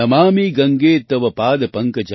नमामि गंगे तव पाद पकंजं